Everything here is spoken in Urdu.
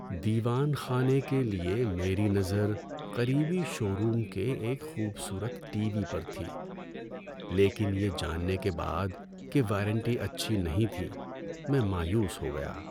دیوان خانے کے لیے میری نظر قریبی شو روم کے ایک خوبصورت ٹی وی پر تھی لیکن یہ جاننے کے بعد کہ وارنٹی اچھی نہیں تھی، میں مایوس ہو گیا۔